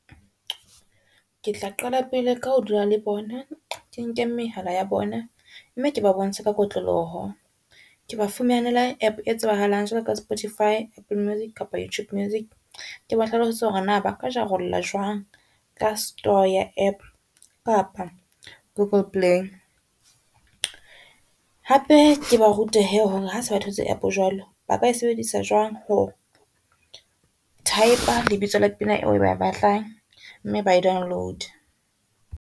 Ke tla qala pele ka ho dula le bona, ke nke mehala ya bona, mme ke ba bontshe ka kotloloho ke ba fumanele app e tsebahalang jwalo ka Spotify, Apple music kapa Youtube music. Ke ba hlalosetse hore na ba ka jarolla jwang ka store ya app kapa Google Play, hape ke ba rute he hase ba thotse app jwalo ba ka e sebedisa jwang ho type-a lebitso la pina eo ba e batlang, mme ba e download-e.